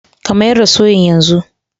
ka mayar da soyan yanzu